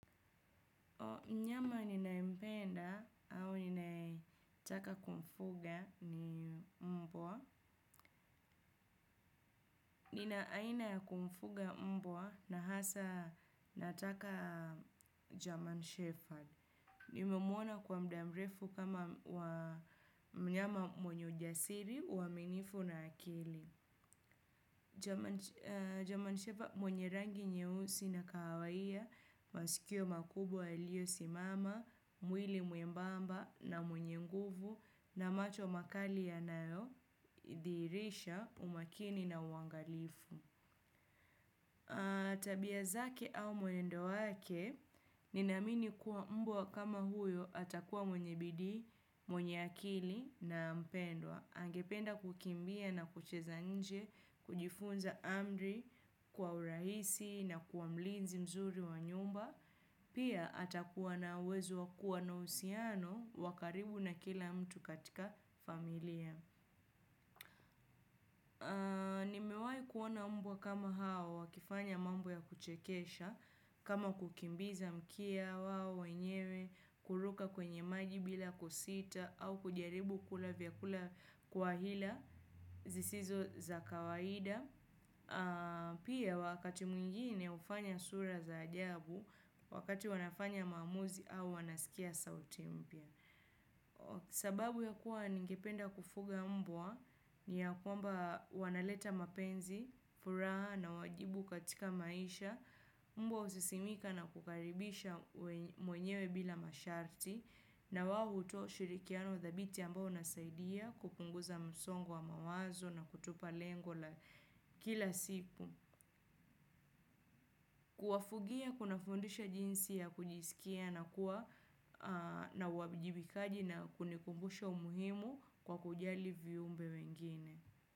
Mnyama ninayempenda au ninayetaka kumfuga ni mbwa. Nina aina ya kumfuga mbwa na hasa nataka german Shepherd. Nimemuona kwa mdamrefu kama wa mnyama mwenye ujasiri, uaminifu na akili. German shepherd mwenye rangi nye usi na kahawaiya, masikio makubwa yaliyo simama, mwili mwembamba na mwenye nguvu na macho makali ya nayo, dhihirisha, umakini na uangalifu. Tabia zake au mwendo wake, ninaamini kuwa mbwa kama huyo atakuwa mwenye bidii, mwenye akili na mpendwa. Angependa kukimbia na kucheza nje, kujifunza amri, kwa urahisi na kuwamlinzi mzuri wa nyumba, pia atakuwa na uwezo wakuwa na uhusiano wakaribu na kila mtu katika familia. Ni mewai kuona mbwa kama hao, wakifanya mambo ya kuchekesha, kama kukimbiza mkia, wao wenyewe, kuruka kwenye maji bila kusita, au kujaribu kula vyakula kwa hila, zisizo za kawaida. Pia wakati mwingine ufanya sura za ajabu, wakati wanafanya maamuzi au wanaskia sauti mpya. Sababu ya kuwa ningependa kufuga mbwa ni ya kwamba wanaleta mapenzi, furaha na wajibu katika maisha, mbwa usisimika na kukaribisha mwenyewe bila masharti na wao hutoa ushirikiano thabiti ambao unasaidia kupunguza msongo wa mawazo na kutupa lengo la kila siku. Kuwafugia kuna fundisha jinsi ya kujiskia na kuwa na uwabijibikaji na kunikumbusha umuhimu kwa kujali viumbe wengine.